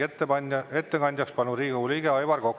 Ettekandjaks palun Riigikogu liikme Aivar Koka.